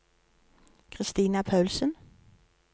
Christina Paulsen